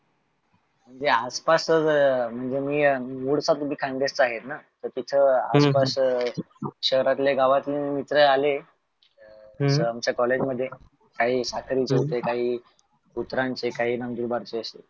तो आस्पासच तार तीथा आसपास शहरात गावातून मित्र आले आमच्या collage मध्ये काही सख्रीचे होते, काही काही, नंदुरबारचे,